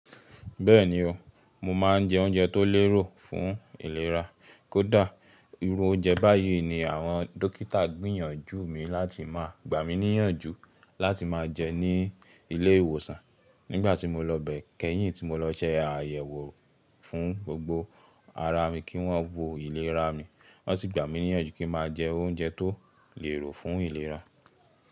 Bẹ́ẹ̀ni o, mo máa ń jẹ oúnjẹ tó lérò fún ìlera. Kódà irú oúnjẹ báyìí ni àwọn dókítà gbìyànjú mi láti máa, gbà mí níyànjú láti máa jẹ ní ilé ìwòsàn nígbà tí mo lọ bẹ. Kẹ́yìn tí mo lọ se àyẹ̀wò fún gbogbo ara mi kí wọ́n wo ìlera mi, wọ́n sì gbà mí níyànjú kí n máa jẹ oúnjẹ tó lérò fún ìlera.